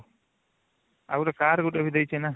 ଆଉ ଗୁଟେ car ଗୁଟେ ବି ଦେଇଚି ନା